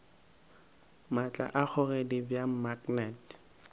maatla a kgogedi bja maknete